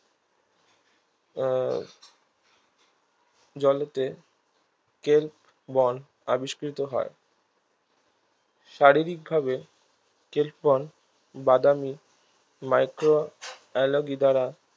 আহ জলেতে ক্লেববন আবিষ্কৃত হয় শারীরিকভাবে ক্লেববন বাদামি microalgae দ্বারা